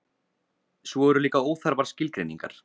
svo eru líka óþarfar skilgreiningar